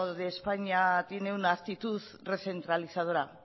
de españa tiene una actitud recentralizadora